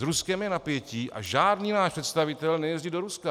S Ruskem je napětí a žádný náš představitel nejezdí do Ruska.